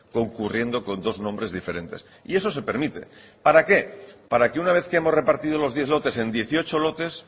concurriendo con dos nombres diferentes y eso se permite para qué para que una vez que hemos repartido los diez lotes en dieciocho lotes